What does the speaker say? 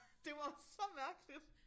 Det var så mærkeligt